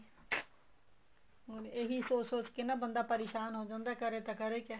ਇਹੀ ਸੋਚ ਸੋਚ ਕੇ ਬੰਦਾ ਪਰੇਸ਼ਾਨ ਹੋ ਜਾਂਦਾ ਕਰੇ ਤਾਂ ਕਰੇ ਕਿਆ